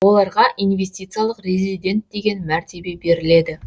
оларға инвестициялық резидент деген мәртебе беріледі